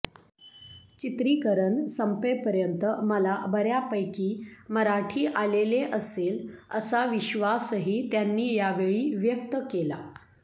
चित्रीकरण संपेपर्यत मला बऱ्यापैकी मराठी आलेले असेल असा विश्वासशी त्यांनी यावेळी व्यक्तकेला